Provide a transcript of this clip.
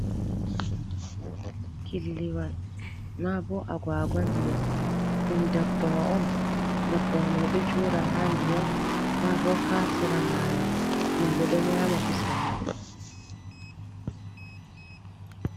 "Killiwal" ma ɓo agaguwa ndiyam ɗum dabbawa on dabbawa mai ɗo joda ha ndiyam ma ɓo ha sera mayo himɓe ɗo nyama kusel mai.